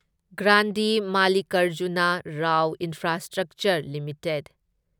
ꯒ꯭ꯔꯥꯟꯗꯤ ꯃꯥꯜꯂꯤꯀꯔꯖꯨꯅꯥ Rao infrastructure limited